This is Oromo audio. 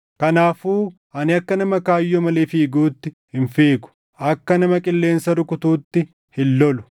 Kanaafuu ani akka nama kaayyoo malee fiiguutti hin fiigu; akka nama qilleensa rukutuutti hin lolu.